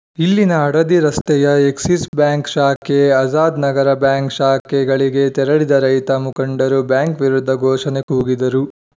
ಇಲ್ಲಿನ ಹಡಡಿ ರಸ್ತೆಯ Axis bank ಶಾಖೆ ಆಜಾದ್‌ ನಗರ ಬ್ಯಾಂಕ್‌ ಶಾಖೆಗಳಿಗೆ ತೆರಳಿದ ರೈತ ಮುಖಂಡರು ಬ್ಯಾಂಕ್‌ ವಿರುದ್ಧ ಘೋಷಣೆ ಕೂಗಿದರು